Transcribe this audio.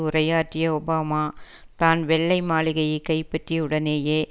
உரையாற்றிய ஒபாமா தான் வெள்ளை மாளிகையை கைப்பற்றிய உடனேயே